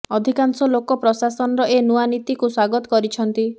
ଅଧିକାଂଶ ଲୋକ ପ୍ରଶାସନର ଏ ନୂଆ ନୀତିକୁ ସ୍ବାଗତ କରିଛନ୍ତି